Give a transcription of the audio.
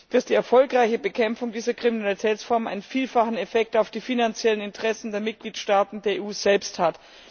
dass die erfolgreiche Bekämpfung dieser Kriminalitätsform einen vielfachen Effekt auf die finanziellen Interessen der Mitgliedstaaten der EU selbst hat.